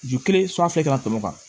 Ju kelen kana tɛmɛ o kan